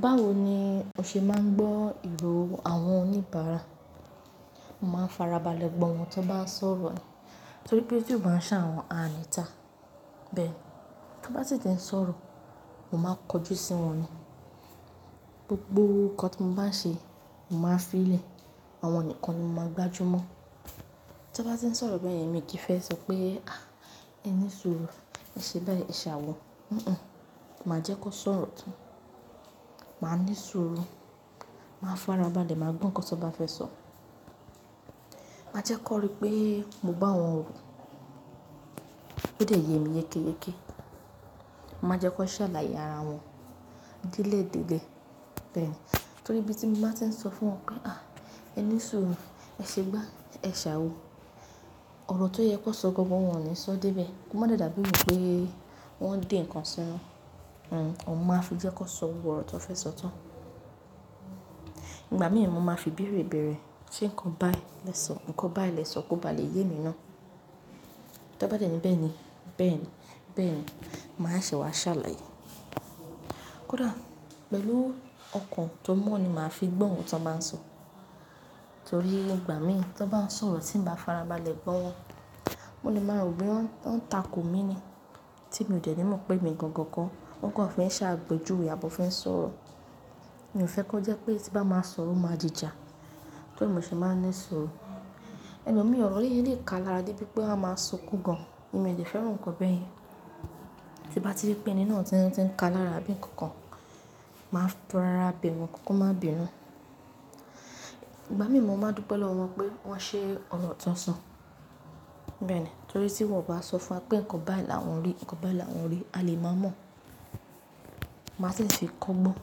Báwo ni o ṣe máa ń gbọ́ ìró àwọn oníbàárà? Mo máa ń fara balẹ̀ gbọ́ ohun tó bá ń sọ̀rọ̀ ni. Torí pé tí ò bá ń ṣà wọ̀n ààní ta. Bẹ́ẹ̀ ni. Tí wọ́n bá sì ti ń sọ̀rọ̀, mo máa ń kojú sí wọn ni. Gbogbo nǹkan tí mo bá ń ṣe, mo máa ń fi ìlẹ̀ àwọn nìkan ni mo máa ń gbájú mọ́. Tí wọ́n bá ti ń sọ̀rọ̀ bẹ́ẹ̀ yẹn, èmi kì í fẹ́ sọ pé "à, ẹ ní súùrù, ẹ ṣe báyìí, ẹ ṣàwọ̀". Hunhun. Mà á jẹ́ kó sọ̀rọ̀ tán. Màá ní súùrù, màá fara balẹ̀, màá gbọ́ nǹkan tí wọ́n bá fẹ́ sọ. Mà á jẹ́ kó rí pé mo bá wọn wò. Óde yemi yékéyéké. Màá jẹ́ kan ṣàlàyé ara wọn dẹ́lẹ́dẹ́lẹ́. Bẹ́ẹ̀ni. Torí bí tí n bá ti ń sọ fún wọn pé "à, ẹ ní súùrù, ẹ ṣe gbá, ẹ ṣàwọ̀", ọ̀rọ̀ tó yẹ kó sọ gangan wọn ni sọ dé bẹ̀. Kò máa dà mo n pé wọ́n ń dè nǹkan sínú. Hmm, oun mo máa fi jẹ́ kó sọ gbogbo ọ̀rọ̀ tí wọ́n fẹ́ sọ tán. Ìgbà mì mo máa fi bèèrè bèèrè. Ṣé nǹkan báì lè sọ? Ǹkan báì lè sọ kó bá lè yemi ná. Tó bá dẹ̀ ní bẹ́ẹ̀ ni, bẹ́ẹ̀ ni, bẹ́ẹ̀ ni, màá ṣe wá ṣàlàyé. Kódà pẹ̀lú ọkàn tó mọ́n ni màá fi gbọ́ ohun tí wọ́n bá ń sọ. Torí ìgbà mì to bá ń sọ̀rọ̀ tí n bá farabalẹ̀ gbọ́ wọn, mo lè máa rò bo ya wọ́n ń tako mi ni. Tí mi o dẹ̀ ní mọ̀ pé èmi gangan kọ́, wọn kò fi n ṣàpéjúwe à bó fi ń sọ̀rọ̀. Mi ò fẹ́ kó jẹ́ pé tí n bá máa sọ̀rọ̀, o máa dìjà. Tó rí e mo ṣe máa ń ní súùrù. Ẹ̀lọ́mi ọ̀rọ̀ yìí lè ká lára dé bi pé pé a máa sunkún gan. Èmi ò lè fẹ́ràn nǹkan bẹ́ẹ̀ yẹn. Tí mo bá rí pé ẹni náà ti ń ti ń ká lára àbí n kankan, màá fara bẹ̀ wọ́n, kan máa bínú. Ìgbà mì mo máa dùpẹ̀ lọ́wọ́ wọn pé wọ́n ṣe ọ̀rọ̀ tó sọ. Bẹ́ẹ̀ ni. Torí tí wọ́n bá sọ fún wa pé nǹkan báyìí làwọn rí, nǹkan báyìí làwọn rí, a lè máa mọ̀. Màá sì fi kọ́gbọ́n.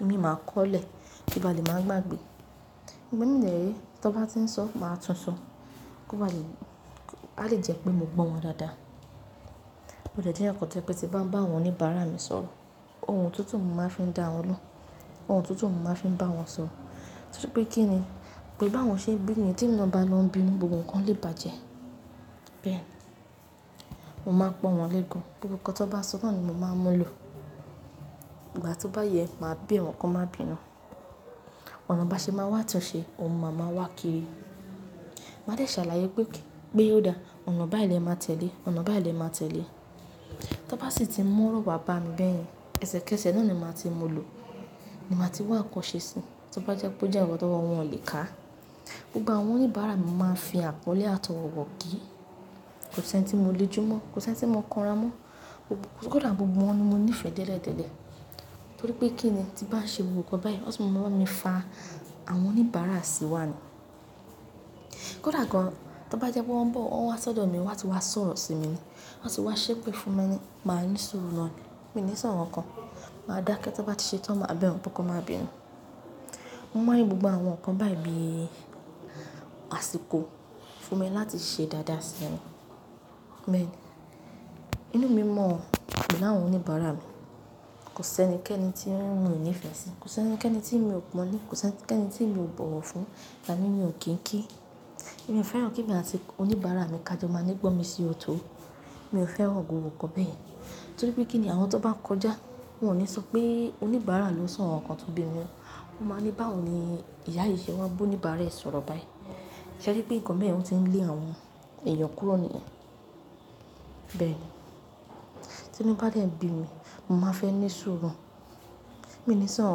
Imin máa kọ́lẹ̀ kí ba lè máa gbàgbé. Ìgbà mi de re, to bá ti ń sọ, màá túnsọ kó bá le alè jẹ́ pé mo gbọ́ wọn dáadáa. Ṣé nǹkan báì lè sọ? Ǹkan báì lè sọ kó bá lè yemi náà. Tó bá dẹ̀ ní bẹ́ẹ̀ ni, bẹ́ẹ̀ ni, bẹ́ẹ̀ ni, màá ṣe wá ṣàlàyé. Ohun tuntun mo máa ń fi bá wọn sọ̀rọ̀. Torípé kíni pẹ̀lú bá wọn ṣe ń bínú yẹn tèmi náà bá lọ ń bínú gbogbo ǹkan lè bàjẹ́. Bẹ́ẹ̀, mo máa ń pọ́n wọn lé gan gbogbo nǹkan to bá sọ náà ni mo máa ń mú lọ. Ìgbà tó bá yẹ, màá bẹ̀ wọ́n kan máa bínú. Ọ̀nà bá ṣe máa wá àtúnṣe, ohun máa má wá kiri. Mà á dẹ̀ ṣàlàyé pé okay, pé ó dáa. Ọ̀nà báyìí lè máa tẹ̀lé, ọ̀nà báyìí lè máa tẹ̀lé. Tó bá sì ti mu ọ̀rọ̀ wà bá mi bẹ́ yẹn, ẹsẹ̀kẹsẹ̀ náà ni màá ti mú lọ. Ni màá ti wá n nkan ṣẹ́ sí. Tó bá jẹ́ pé ó jẹ́ ǹkan tówo wọ́n o lè ká. Gbogbo àwọn oníbàárà mi mo máa ń fi àpọ́nlé àtọwọ̀ kiì. Kò sí ẹni tí mo le jú mọ́, kò sí ẹni tí mo kanra mọ́. Kódà gbogbo wọn ni mo níìfẹ̀ dẹ́ledẹ́lẹ́. Torí pé kí ni tí bá ń ṣe gbogbo nǹkan báyìí, wọ́n tún máa máa bá mí fa àwọn oníbàárà sí wá ni. Kódà gan an, tọ́ bá jẹ́ pé wọ́n ń bọ̀, wọ́n wá sọ́dọ̀ mi, wọ́n sì wá sọ̀rọ̀ sí mi ni, wọ́n sì wá ṣépè fún mi, mà á ní súùrù náà ni. Mi ní sọ̀ nkankan. Màá dákẹ́ to bá ti ṣe tán, màá bẹ̀ wọ́n, pé kan máa bínú. Mo máa rí gbogbo àwọn nkan báyìí bí àsìkò fún mi láti ṣe dáadáa sí wọn. Inú mi mọ̀n pé láwọn oníbàárà mi, kò sí ẹni kẹ́ẹ́nì tí n mi o nífẹ́ sí. Kò sí ẹni kẹ́ẹ́nì tí mi ò pọ́nlé, kò sí ẹni kẹ́ẹ́nì tí mi ò bọ̀wọ̀ fún. Tani mi ò kín kí. Mi ò fẹ́ràn kí emi àti oníbàárà mi ká jọ máa ni gbọ́nmi sí ọ̀tọ̀. Mi ò fẹ́ràn gbogbo nǹkan bẹ́ yẹn. Torí pé kíni àwọn tó bá ń kọjá, wọn ò ní sọ pé oníbàárà ló sọ̀ nkankan tó bí mi nú. Wọn máa ni báwo ni ìyá yìí ṣe wa n bo oníbàárà ẹ̀ sọ̀rọ̀ báyìí. Ṣe rí pé ǹkan beyen o tí ń lé àwọn èèyàn kúrò nìyẹn? Bẹ́ẹ̀ni. Tínu bá dẹ̀ ń bi mí, mo máa fẹ́ ní súùrù. Mi ò ní sọ̀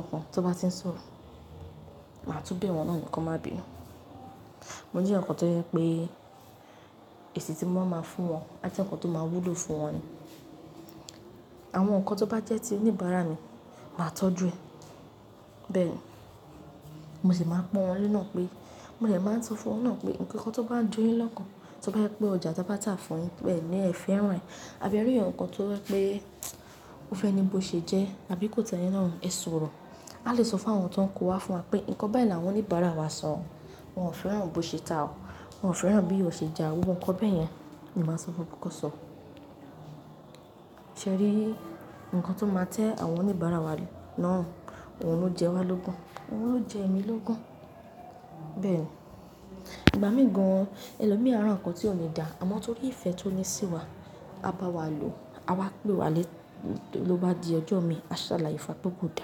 nkankan tọ́ bá ti ń sọ̀rọ̀. Màá tún bẹ̀ wọ́n náà nì kan máa bínú. Mo jẹ́ eyan kan tó jẹ́ pé èsì tí mo ba máa fún wọn á jẹ́ ǹkan tó máa wúlò fún wọn ni. Àwọn ǹkan tó bá jẹ́ ti oníbàárà mi, màá tọ́jú ẹ. Bẹ́ẹ̀ni. Mo sì máa pọ́n wọn lé nà pé, mo dẹ̀ máa ń sọ fún wọn náà pé ǹkankan tó bá ń jo yín lọ́kàn, tó bá jẹ́ pé ọjà tí a bá tà fún yín ẹ́ fẹ́ràn rẹ̀, àbí ẹ rí ẹ̀yàn kan tó jẹ́ pé ó fẹ́ ni bó ṣe jẹ́, àbí kò tẹ́ yín lọ́rùn, ẹ sọ̀rọ̀. A lè sọ fún àwọn tó ń kó wá fún wa pé nǹkan báyìí làwọn oníbàárà wa sọ. Wọn ò fẹ́ràn bó ṣe ta ọ́, wọn ò fẹ́ràn bí ó ṣe ja gbogbo ǹkan bẹ́ yẹn. Ni máa sọ fún wọn pé kan sọ. Ṣé ẹ rí? Ǹkan tó máa tẹ́ àwọn oníbàárà wa lórun, òun ló jẹ wá lógun. Òun ló jẹ èmi lógun. Bẹ́ẹ̀ ni. Ìgbà míì gan, ẹlòmi ara tí ò ní dà, àmọ́ torí ìfẹ́ tí ó ní sí wa, a bá wa lò, a wá pè wá lé, ló bá di ọjọ́ mi, a ṣàlàyé fún wa pé ko dáa.